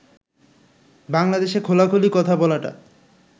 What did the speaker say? বাংলাদেশে খোলাখুলি কথা বলাটা